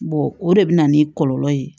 o de bɛ na ni kɔlɔlɔ ye